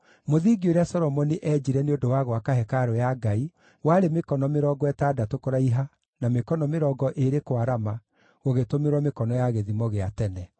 Mũthingi ũrĩa Solomoni eenjire nĩ ũndũ wa gwaka hekarũ ya Ngai warĩ mĩkono mĩrongo ĩtandatũ kũraiha na mĩkono mĩrongo ĩĩrĩ kwarama, gũgĩtũmĩrwo mĩkono ya gĩthimo gĩa tene.